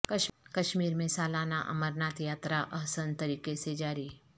کشمیر میں سالانہ امرناتھ یاترا احسن طریقے سے جاری